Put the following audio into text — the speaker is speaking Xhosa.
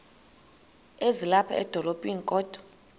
ezilapha edolophini kodwa